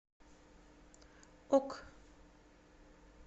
ок